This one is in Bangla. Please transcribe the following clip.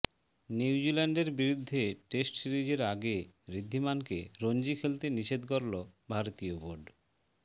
নিউজিল্যান্ডের বিরুদ্ধে টেস্ট সিরিজের আগে ঋদ্ধিমানকে রঞ্জি খেলতে নিষেধ করল ভারতীয় বোর্ড